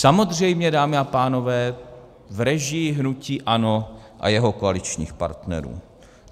Samozřejmě, dámy a pánové, v režii hnutí ANO a jeho koaličních partnerů.